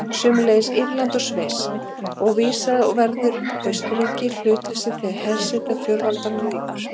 Sömuleiðis Írland og Sviss, og vísast verður Austurríki hlutlaust þegar hersetu fjórveldanna lýkur.